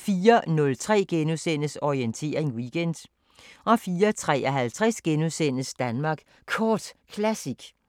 * 04:03: Orientering Weekend * 04:53: Danmark Kort Classic *